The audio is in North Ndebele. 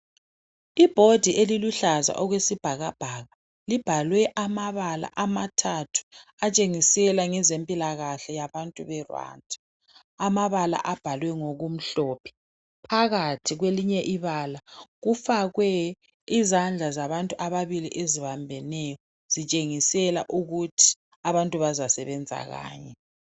I board eliluhlaza okwesibhakabhaka libhalwe amabala amathathu atshengisela ngezempilakahle yabantu be Rwanda amabala abhalwe ngokumhlophe phakathi kwelinye ibala kufakwe izandla zabantu ababili ezibambeneyo kutshengisa ukuthi abantu bazasebenza kanye.